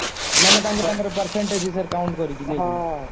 ମାନେ ତାଙ୍କ ତାଙ୍କର percentage ହିସାବରେ count କରିକି ନେଇକି